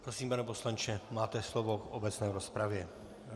Prosím, pane poslanče, máte slovo v obecné rozpravě.